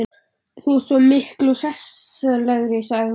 Þú ert svo miklu hressilegri, sagði hún.